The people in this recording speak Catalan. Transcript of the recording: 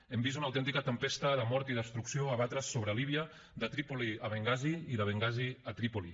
hem vist una autèntica tempesta de mort i destrucció abatre’s sobre líbia de trípoli a bengasi i de bengasi a trípoli